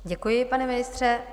Děkuji, pane ministře.